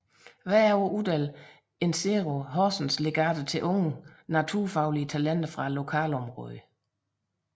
Hvert år uddeler Insero Horsens legater til unge naturfaglige talenter fra lokalområdet